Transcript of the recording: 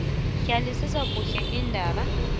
hlalisa kuhle indaba